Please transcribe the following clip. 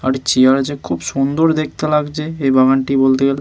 আর একটি চেয়ার আছে খুব সুন্দর দেখতে লাগছে এই বাগানটি বলতে গেলে--